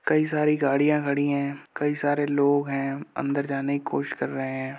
कई सारी गाड़ियां खड़ी है। कई सारे लोग हैं अंदर जाने की कोशिश कर रहे हैं।